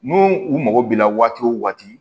N'u u mago b'i la waati o waati